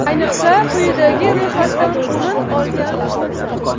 Ayniqsa, quyidagi ro‘yxatdan o‘rin olgan bo‘lsa.